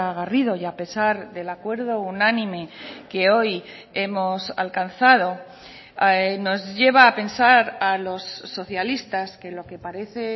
garrido y a pesar del acuerdo unánime que hoy hemos alcanzado nos lleva a pensar a los socialistas que lo que parece